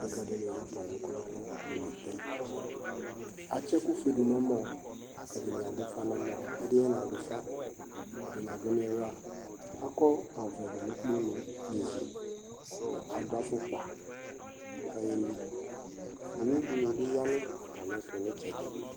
Ḍekaɖi nutalu ɛku nɛlu ɖunu ɩtɛ Ạtsi ɛkuƒœ ɖunu ɔmɔ, ɛdkni ạdufa nu ɔmɔ, ɛdini naɖufa Ɛdini aɖu niŋla, ɑkɔvlɛ ɖunu kponu nivi kaɖu afukpa kaƴelɩ Ọwudinibi ya nu ạtamɩɛtu nitsɛɖi